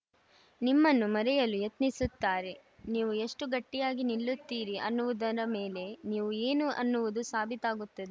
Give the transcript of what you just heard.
ನಿಮ್ಮನ್ನು ಮುರಿಯಲು ಯತ್ನಿಸುತ್ತಾರೆ ನೀವು ಎಷ್ಟುಗಟ್ಟಿಯಾಗಿ ನಿಲ್ಲುತ್ತೀರಿ ಅನ್ನುವುದರ ಮೇಲೆ ನೀವು ಏನು ಅನ್ನುವುದು ಸಾಬೀತಾಗುತ್ತದೆ